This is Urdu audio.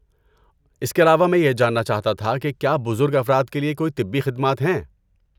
اس کے علاوہ، میں یہ جاننا چاہتا تھا کہ کیا بزرگ افراد کے لیے کوئی طبی خدمات ہیں؟